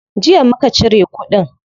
Jiya muka cire kudin.